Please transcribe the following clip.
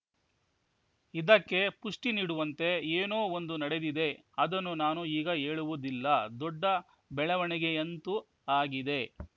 ಇದಕ್ಕೆ ಪುಷ್ಟಿನೀಡುವಂತೆ ಏನೋ ಒಂದು ನಡೆದಿದೆ ಅದನ್ನು ನಾನು ಈಗ ಹೇಳುವುದಿಲ್ಲ ದೊಡ್ಡ ಬೆಳವಣಿಗೆಯಂತೂ ಆಗಿದೆ